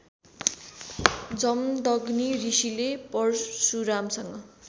जमदग्नि ऋषिले परशुरामसँग